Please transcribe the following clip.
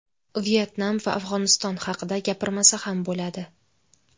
Vyetnam va Afg‘oniston haqida gapirmasa ham bo‘ladi.